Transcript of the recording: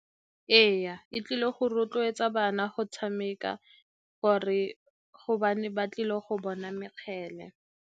Ee, e tlile go rotloetsa bana go tshameka gobane ba tlile go bona mekgele.